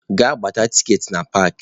Gaa gbata tikeetị na park!